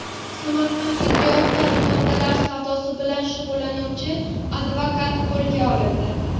Samarqandda giyohvand moddalar savdosi bilan shug‘ullanuvchi advokat qo‘lga olindi.